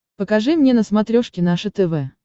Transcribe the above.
покажи мне на смотрешке наше тв